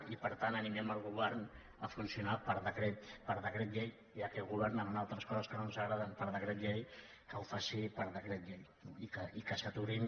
i per tant animem el govern a funcionar per decret llei ja que governen en altres coses que no ens agraden per decret llei que ho faci per decret llei i que s’aturin